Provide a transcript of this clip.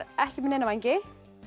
ekki með neina vængi